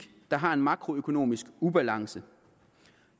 der har en makroøkonomisk ubalance